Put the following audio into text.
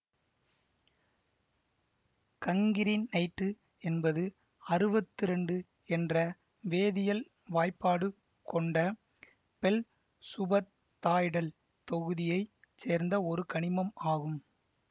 cancrinite என்பது அறுவத்தி இரண்டு என்ற வேதியல் வாய்பாடு கொண்ட ஃபெல் சுப தாய்டல் தொகுதியை சேர்ந்த ஒரு கனிமம் ஆகும்